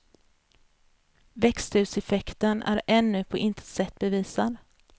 Växthuseffekten är ännu på intet sätt bevisad.